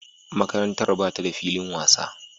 Makarantar ba ta da filin wasa.